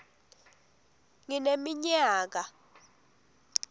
ngineminyaka